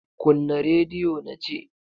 Kunna rediyo na ce!